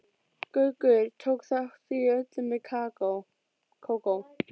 Gaukur tók þátt í öllu með Kókó.